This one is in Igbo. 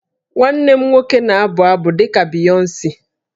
Nwanne m nwoke na-abụ abụ dị ka Beyonce